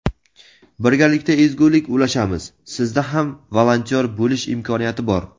Birgalikda ezgulik ulashamiz: sizda ham volontyor bo‘lish imkoniyati bor!.